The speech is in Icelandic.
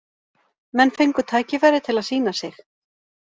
Menn fengu tækifæri til að sýna sig.